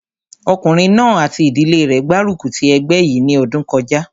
Ọkùnrin náà àti ìdílé rẹ̀ gbárùkù ti ẹgbẹ́ yìí ní ọdún kọjá